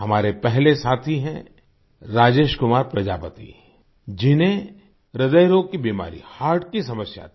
हमारे पहले साथी हैं राजेश कुमार प्रजापति जिन्हें ह्रदय रोग की बीमारी हर्ट की समस्या थी